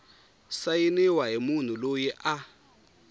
sayiniwa hi munhu loyi a